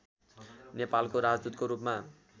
नेपालको राजदूतको रूपमा